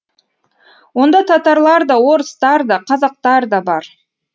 онда татарлар да орыстар да қазақтар да бар